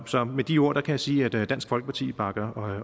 så med de ord kan jeg sige at dansk folkeparti bakker